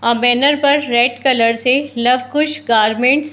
और बैनर पर red colour से लव- कुश गारमेंट्स --